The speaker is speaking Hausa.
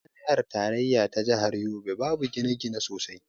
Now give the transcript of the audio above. A jami'ar tarayya ta jahar yobe babu gine-gine sosai.